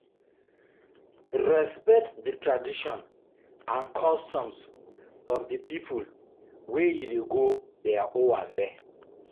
Respect di tradition and customs of di pipo wey you dey go their owambe